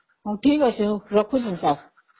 ହଉ ଠିକ ଅଛି, ରଖୁଛି ସାର